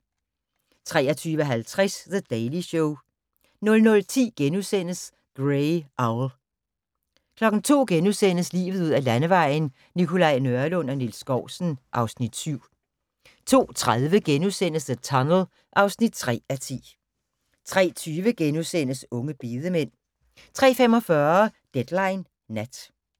23:50: The Daily Show 00:10: Grey Owl * 02:00: Livet ud ad Landevejen: Nikolaj Nørlund og Niels Skousen (Afs. 7)* 02:30: The Tunnel (3:10)* 03:20: Unge bedemænd * 03:45: Deadline Nat